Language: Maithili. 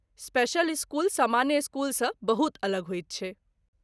स्पेशल स्कूल सामान्य स्कूलसँ बहुत अलग होइत छै।